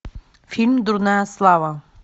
фильм дурная слава